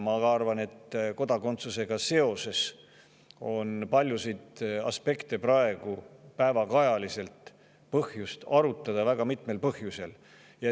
Ma arvan, et kodakondsusega seoses on praegu põhjust paljusid päevakajalisi aspekte väga mitmel põhjusel arutada.